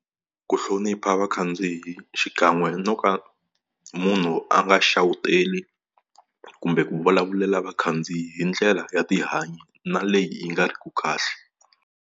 Ku hlonipha vakhandziyi xikan'we no ka munhu a nga xawuteli kumbe ku vulavulela vakhandziyi hi ndlela ya tihanyi na leyi yi nga riki kahle.